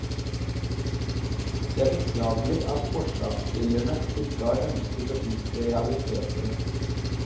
Det er beklagelig at forslagsstillerne ikke har ønsket å innse realitetene.